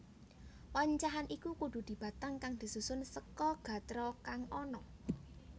Wancahan iku kudu dibatang kang disusun seka gatra kang ana